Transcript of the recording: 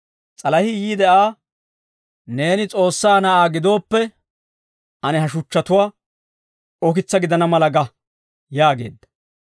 S'alahii yiide Aa, «Neeni S'oossaa Na'aa gidooppe, ane ha shuchchatuwaa ukitsaa gidana mala ga» yaageedda.